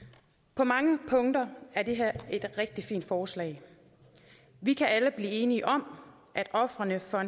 på mange punkter er det her et rigtig fint forslag vi kan alle blive enige om at ofrene for